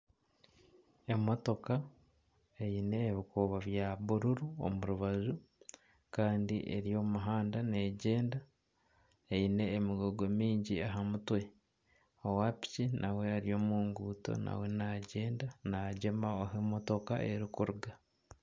Emotooka eine ebikuubo bya bururu omu rubaju kandi eri omu muhanda negyenda eine emigugu mingi aha mutwe owa piki nawe ari omu nguuto nawe nagyenda nagyema ahu emotooka erikuruga.